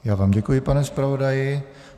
Já vám děkuji, pane zpravodaji.